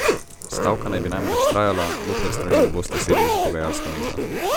Stavka naj bi namreč trajala, dokler strani ne bosta sedli za pogajalsko mizo.